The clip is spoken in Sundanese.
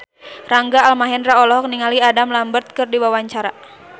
Rangga Almahendra olohok ningali Adam Lambert keur diwawancara